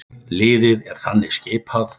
Liðið er þannig skipað